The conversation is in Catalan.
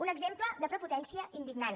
un exemple de prepotència indignant